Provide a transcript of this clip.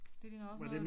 Det ligner også noget